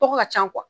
Tɔgɔ ka ca